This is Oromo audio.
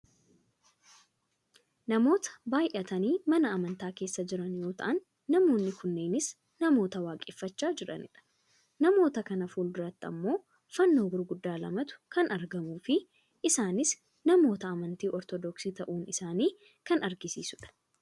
namoota baayyatanii mana amantaa keessa jiran yoo ta'an , namoonni kunneenis namoota waaqeffachaa jiranidha. namoota kana fuulduratti ammoo fannoo gurguddaa lamatu kan argamuufi isaanis namoota amantii ortodoksii ta'uu isaanii kan agarsiisudha.